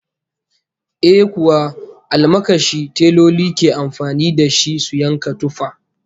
Eh kuwa, almakashi teloli ke amfani da shi su yanka tufa